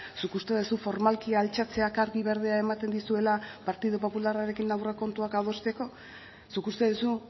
zuk uste duzu formalki altxatzeak argi berdea ematen dizuela partidu popularrarekin aurrekontuak adosteko zuk uste duzu